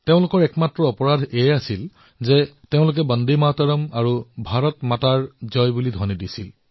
তেওঁলোকৰ একমাত্ৰ অপৰাধ এয়াই আছিল যে তেওঁলোকে বন্দে মাতৰম আৰু ভাৰত মাৰ জয় ধ্বনি দিছিল